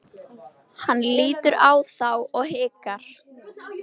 Hann lítur á þá og hikar.